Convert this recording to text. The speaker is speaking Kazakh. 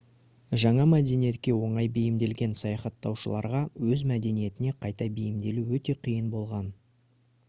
жаңа мәдениетке оңай бейімделген саяхаттаушыларға өз мәдениетіне қайта бейімделу өте қиын болған